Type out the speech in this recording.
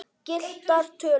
Gylltar tölur.